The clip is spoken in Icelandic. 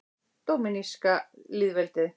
Dóminíska lýðveldið